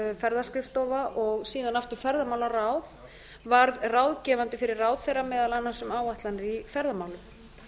ferðaskrifstofa og síðan aftur ferðamálaráð varð ráðgefandi fyrir ráðherra meðal annars um áætlanir í ferðamálum